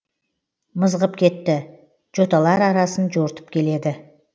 мызғып кетті жоталар арасын жортып келеді